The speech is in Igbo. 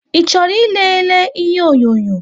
I chọrọ ị lele ihe onyonyo?